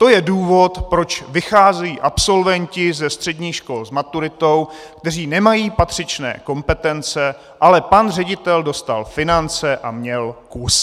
To je důvod, proč vycházejí absolventi ze středních škol s maturitou, kteří nemají patřičné kompetence, ale pan ředitel dostal finance a měl kus.